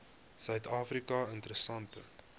suid afrika interessante